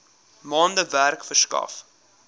maande werk verskaf